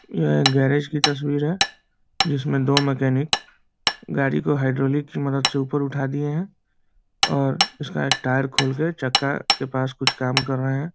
यह गणेश जी की तस्वीर है जिस में दो मैकेनिक गाड़ी को हाइड्रोलिक की मदद से ऊपर उठा दिए है और इस का टायर खोल के चक्का के पास कुछ काम कर रहे है ।